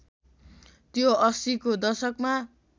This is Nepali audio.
त्यो ८०को दशकमा